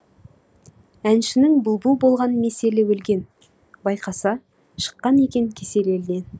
әншінің бұлбұл болған меселі өлген байқаса шыққан екен кесел елден